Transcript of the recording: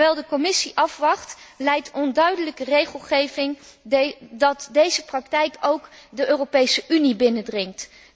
Terwijl de Commissie afwacht, leidt onduidelijke regelgeving ertoe dat deze praktijk ook de Europese Unie binnendringt.